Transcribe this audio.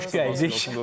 Xoş gəldik, dostlar.